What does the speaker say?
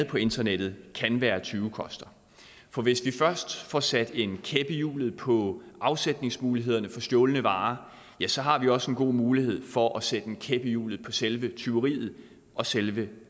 på internettet kan være tyvekoster for hvis vi først får sat en kæp i hjulet på afsætningsmulighederne for stjålne varer ja så har vi også en god mulighed for at sætte en kæp i hjulet selve tyveriet og selve